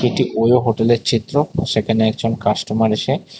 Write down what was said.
একটি ওয়ো হোটেলের চিত্র সেখানে একজন কাস্টমার এসে--